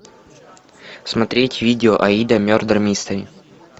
смотреть видео аида мердер мистери